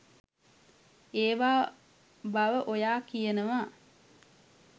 ඒවා බව ඔයා කියනවා.